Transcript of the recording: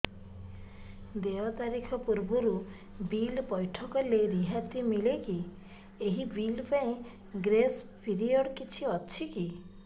ଦେୟ ତାରିଖ ପୂର୍ବରୁ ବିଲ୍ ପୈଠ କଲେ ରିହାତି ମିଲେକି ଏହି ବିଲ୍ ପାଇଁ ଗ୍ରେସ୍ ପିରିୟଡ଼ କିଛି ଅଛିକି